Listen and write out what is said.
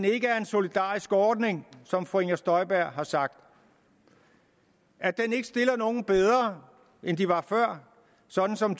ikke er en solidarisk ordning som fru inger støjberg har sagt at den ikke stiller nogen bedre end de var før sådan som